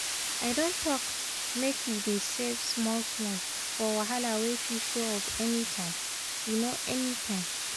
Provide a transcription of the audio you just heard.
i don talk make we dey save small-small for wahala wey fit show up anytime. um anytime.